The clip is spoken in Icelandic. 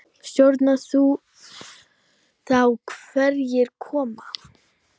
Stjórnar þú þá hverjir koma?